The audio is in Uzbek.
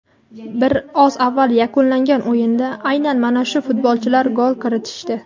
Bir oz avval yakunlangan o‘yinda aynan mana shu futbolchilar gol kiritishdi.